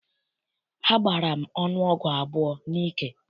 Agbara m ọnụ ọgwụ abụọ n'ike.